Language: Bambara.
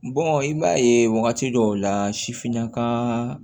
i b'a ye wagati dɔw la sifinnaka